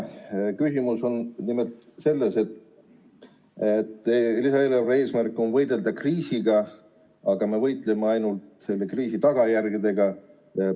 Küsimus on nimelt selles, et lisaeelarve eesmärk on võidelda kriisiga, aga me võitleme ainult selle kriisi tagajärgedega.